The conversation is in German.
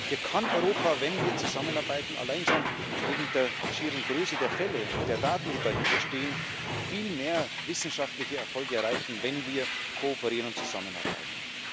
Hier kann Europa wenn wir zusammenarbeiten allein schon wegen der schieren Größe der Fälle und der Daten, die dahinterstehen, viel mehr wissenschaftliche Erfolge erreichen, wenn wir kooperieren und zusammenarbeiten.